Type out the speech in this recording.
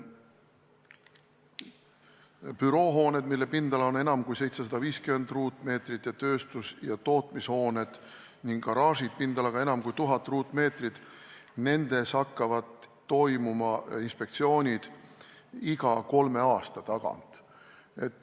Büroohoonetes, mille pindala on enam kui 750 ruutmeetrit, tööstus- ja tootmishoonetes ning garaažides pindalaga enam kui 1000 ruutmeetrit hakkavad toimuma inspektsioonid iga kolme aasta tagant.